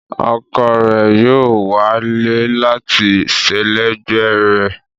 Ọkọ rẹ̀ yóò wà láé láti sẹlẹ̀gbẹ̀ rẹ̀.